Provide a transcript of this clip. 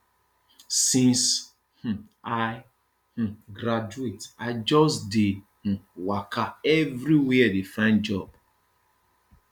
since um i um graduate i just dey um waka everywhere dey find job